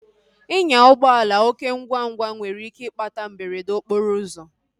Inya ụgbọala oké ngwa ngwa nwere ike ịkpata mberede okporo ụzọ